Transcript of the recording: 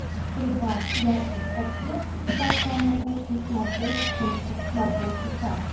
прибавь яркость подсветки потолка на кухне на шесть пунктов на полчаса